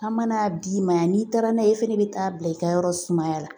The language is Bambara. An mana d'i ma yan n'i taara n'a ye e fɛnɛ bɛ taa bila i ka yɔrɔ sumaya la